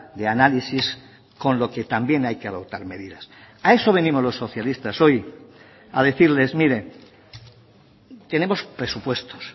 de análisis con lo que también hay que adoptar medidas a eso venimos los socialistas hoy a decirles mire tenemos presupuestos